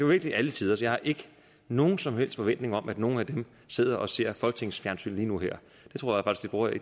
virkelig alle tiders jeg har ikke nogen som helst forventning om at nogle af dem sidder og ser folketingets fjernsyn lige nu og her